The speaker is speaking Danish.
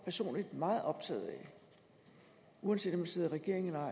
personligt meget optaget af uanset om vi sidder i regering eller ej